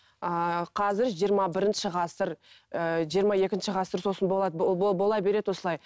ыыы қазір жиырма бірінші ғасыр ііі жиырма екінші ғасыр сосын болады бола береді осылай